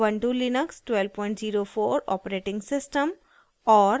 * ubuntu Linux 1204 operating system और